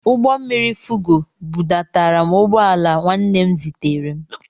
Ụgbọmmiri Fugo bụdatara m ugbọala nwanne m zitere m.